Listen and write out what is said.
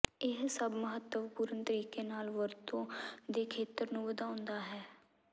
ਇਹ ਸਭ ਮਹੱਤਵਪੂਰਨ ਤਰੀਕੇ ਨਾਲ ਵਰਤੋਂ ਦੇ ਖੇਤਰ ਨੂੰ ਵਧਾਉਂਦਾ ਹੈ